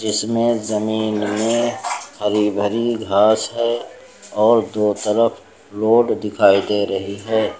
इसमें जमीन में हरी भरी घास है और दो तरफ रोड भी दिखाई दे रही है।